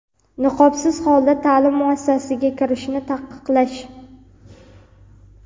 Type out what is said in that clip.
niqobsiz holda ta’lim muassasasiga kirishni taqiqlash;.